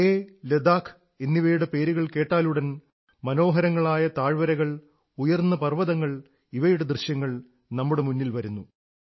ലേഹ് ലഡാഖ് എന്നിവയുടെ പേരുകൾ കേട്ടാലുടൻ മനോഹരങ്ങളായ താഴ്വരകൾ ഉയർന്ന പർവ്വതങ്ങൾ ഇവയുടെ ദൃശ്യങ്ങൾ നമ്മുടെ മുന്നിൽ വരുന്നു